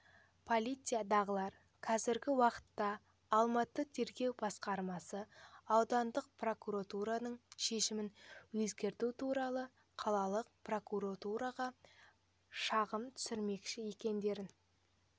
полициядағылар қазіргі уақытта алматы тергеу басқармасы аудандық прокурордың шешімін өзгерту туралы қалалық прокуратураға шағым түсірмекші екендерін